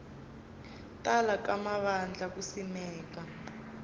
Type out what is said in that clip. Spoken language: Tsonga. tala ka mavandla ku simeka